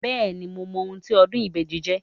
Bẹ́ẹ̀ni, mo mọ ohun tí ọdún ìbejì jẹ́.